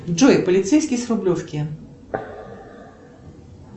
джой полицейский с рублевки